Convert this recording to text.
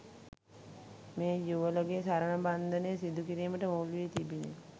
මේ යුවලගේ සරණ බන්ධනය සිදු කිරීමට මුල්වී තිබිනි